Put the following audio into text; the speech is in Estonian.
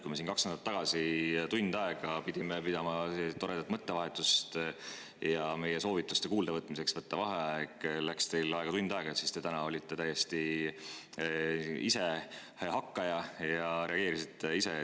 Kui me siin kaks nädalat tagasi pidime tund aega pidama toredat mõttevahetust ja meie soovituste kuuldavõtmiseks, et võetaks vaheaeg, läks teil tund aega, siis täna te olite ise täiesti hakkaja ja reageerisite kohe.